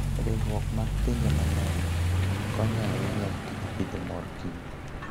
Riwruok mar pinje mang'eny konyo ahinya e tij pidho mor kich.